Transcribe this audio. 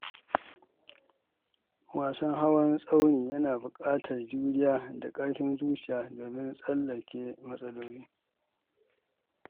Wasan hawan tsauni yana buƙatar juriya da ƙarfin zuciya domin tsallake matsaloli.